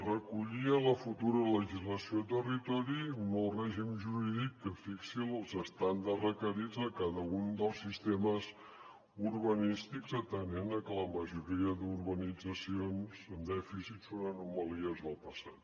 recollia la futura legislació de territori un nou règim jurídic que fixi els estàndards requerits a cada un dels sistemes urbanístics atenent a que la majoria d’urbanitzacions en dèficit són anomalies del passat